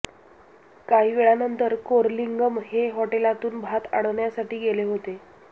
काही वेळानंतर कोरलिंगम हे हॉटेलातून भात आणण्यासाठी गेले होते